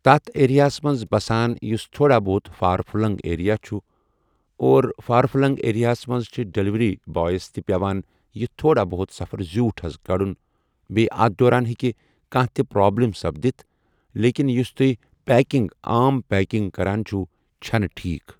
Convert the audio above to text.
تَتھ ایریَاہس منٛز بَسان یُس تھوڑا بہت فار فٕلنٛگ ایریا چھِ اور فار فٕلنٛگ ایریاہَس منٛز چھِ ڈیلؤری بایَس تہِ پٮ۪وان یہِ تھوڑا بہت سفر زیوٗٹھ حض کَڑُن بییہِ اَتھ دوران ہیٚکہِ کانٛہہ تہِ پرٛابلِم سپدِتھ لیکن یُس تُہۍ پیکِنٛگ عام پیکِنٛگ کَران چھُو چھنہ ٹھیک۔